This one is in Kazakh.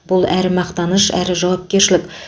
бұл әрі мақтаныш әрі жауапкершілік